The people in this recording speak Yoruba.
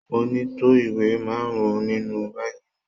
Mo ní tó ìwé márùn-ún nínú báàgì mi.